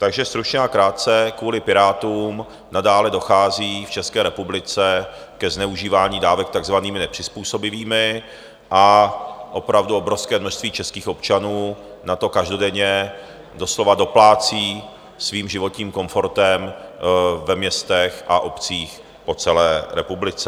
Takže stručně a krátce, kvůli Pirátům nadále dochází v České republice ke zneužívání dávek takzvanými nepřizpůsobivými a opravdu obrovské množství českých občanů na to každodenně doslova doplácí svým životním komfortem ve městech a obcích po celé republice.